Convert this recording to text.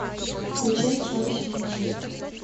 включай челси манчестер